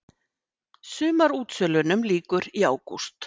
Sumarútsölunum lýkur í ágúst